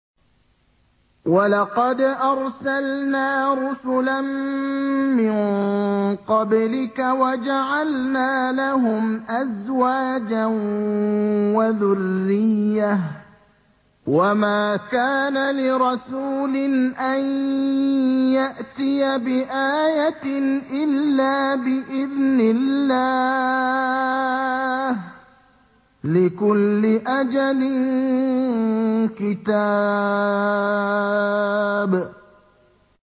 وَلَقَدْ أَرْسَلْنَا رُسُلًا مِّن قَبْلِكَ وَجَعَلْنَا لَهُمْ أَزْوَاجًا وَذُرِّيَّةً ۚ وَمَا كَانَ لِرَسُولٍ أَن يَأْتِيَ بِآيَةٍ إِلَّا بِإِذْنِ اللَّهِ ۗ لِكُلِّ أَجَلٍ كِتَابٌ